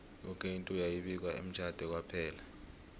yoke into yayi bikwa emtjhade kwaphela